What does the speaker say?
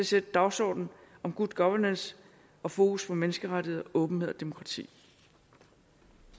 sætte dagsordenen om good governance og fokus på menneskerettigheder åbenhed og demokrati